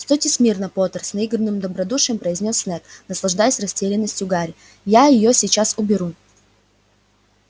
стойте смирно поттер с наигранным добродушием произнёс снегг наслаждаясь растерянностью гарри я её сейчас уберу